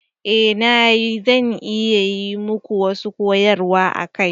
Eh na yi, zan iya yi muku wasu koyarwa a kai.